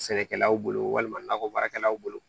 Sɛnɛkɛlaw bolo walima nakɔ baarakɛlaw bolo